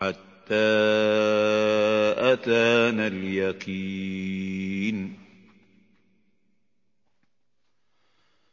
حَتَّىٰ أَتَانَا الْيَقِينُ